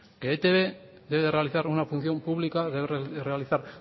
que e i te be debe realizar una función pública debe realizar